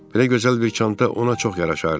Belə gözəl bir çanta ona çox yaraşardı.